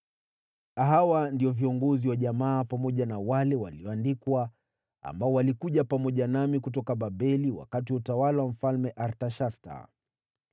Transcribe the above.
Hawa ndio viongozi wa jamaa pamoja na wale walioandikwa ambao walikuja pamoja nami kutoka Babeli wakati wa utawala wa Mfalme Artashasta: